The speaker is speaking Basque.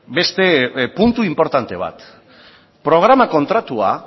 beste puntu inportante bat programa kontratua